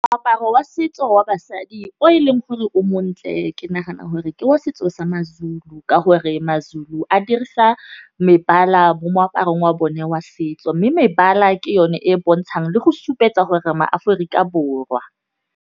Moaparo wa setso wa basadi o e leng gore o montle ke nagana gore ke wa setso sa ma-Zulu. Ka gore ma-Zulu a dirisa mebala mo moaparong wa bone wa setso. Mme mebala ke yone e bontshang le go supetsa gore re ma-Aforika Borwa.